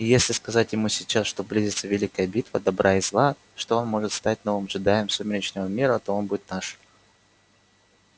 и если сказать ему сейчас что близится великая битва добра и зла что он может стать новым джедаем сумеречного мира то он будет наш